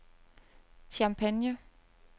Champagne